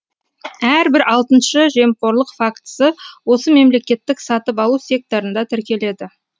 әрбір алтыншы жемқорлық фактісі осы мемлекеттік сатып алу секторында тіркеледі